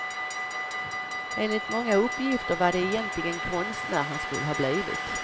Enligt många uppgifter var det egentigen konstnär han skulle ha blivit.